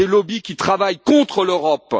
Des lobbies qui travaillent contre l'Europe.